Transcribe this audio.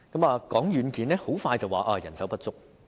談到軟件，很快便會說到人手不足。